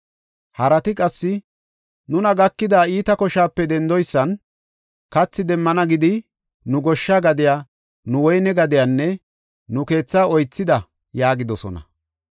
Harati qassi, “Nuna gakida iita koshaape dendoysan kathi demmana gidi, nu goshsha gadiya, nu woyne gadiyanne nu keethaa oythida” yaagidosona.